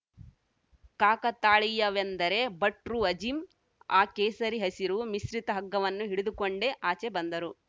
ಕಾಕತಾಳೀಯವೆಂದರೆ ಭಟ್ರುಅಜೀಮ್‌ ಆ ಕೇಸರಿಹಸಿರು ಮಿಶ್ರಿತ ಹಗ್ಗವನ್ನು ಹಿಡಿದುಕೊಂಡೇ ಆಚೆ ಬಂದರು